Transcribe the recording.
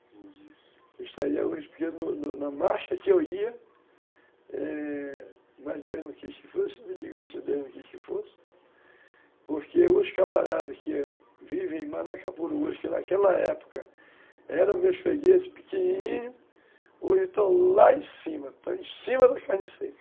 Eu estaria hoje, porque na marcha que eu ia, é... Mas Deus não quis que fosse, sempre digo isso, Deus não quis que fosse, porque os camaradas que vivem em Manacapuru hoje, que naquela época eram meus fregueses pequenininhos, hoje estão lá em cima, estão em cima da carne seca.